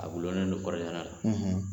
A gulolen do kɔɔrisɛnɛ la